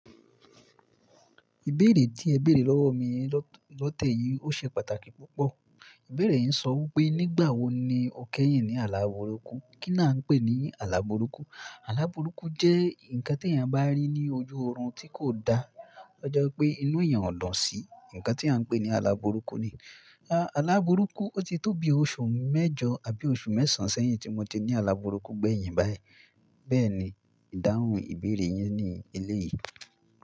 Ìbéèrè tí ẹ béèrè lọ́wọ́ mi lo t--, lọ́tẹ́ẹ̀ yìí ó ṣe pàtàkì púpọ̀. Ìbéèrè yii ń sọ wípé nígbà wo ni o kẹ́yìn ní àláburúkú? Kí ni a ń pè ní àláburúkú? Àláburúkú jẹ́ nǹkan tí èèyàn bá rí ní ojú oorun tí kò da. Ó ji wipé inú èèyàn ò lo sí. Ǹǹkan tí à ń pè ní àláburúkú ni i. A Àláburúkú ó ti tó bi oṣù mẹ́jọ àbí oṣù mẹ́sàn sẹ́yìn tí mo ti ní àláburúkú gbẹ̀yìn báyìí. Bẹ́ẹ̀ni, ìdáhùn ìbéèrè yín ni eléyìí.